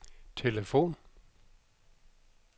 telefon